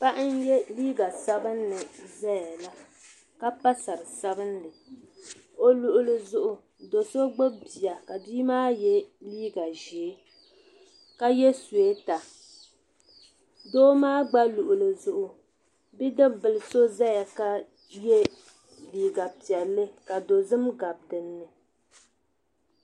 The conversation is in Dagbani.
Paɣa n yiɛ liiga sabinli zaya la ka pa sari sabinli o luɣili zuɣu do so gbubi bia ka bia maa yiɛ liiga zɛɛ ka yiɛ suweeta doo maa gba luɣili zuɣu bidibi bila so zaya ka yiɛ liiga piɛlli ka dozim gabi dinni.